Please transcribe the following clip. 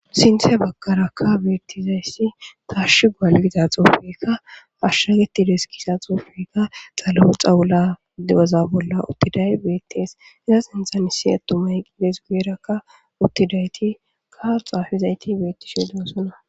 Sinthhe bakaraka beettizayssi tarshi gaalgita xoofeka ashshagetides kisa xoofeka xalau xawula dewaza bolla uttiday beettees iza sinthan issi attumay qides guyerakka uttidayti kau xaafizayti beettishe dewosona.